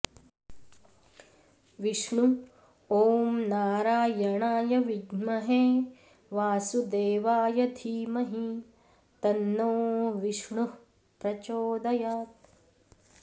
विष्णु ॐ नारायणाय विद्महे वासुदेवाय धीमहि तन्नो विष्णुः प्रचोदयात्